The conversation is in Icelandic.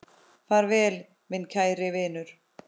Far vel, minn kæri vinur.